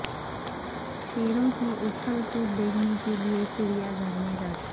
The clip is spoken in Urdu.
شیروں کی اچھل کود دیکھنے کیلئے چڑیا گھر میں رش